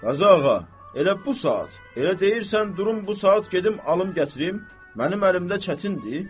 Qazı ağa, elə bu saat, elə deyirsən durum bu saat gedim alım gətirim, mənim əlimdə çətindir?